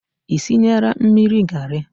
Ị sinyela mmiri garị?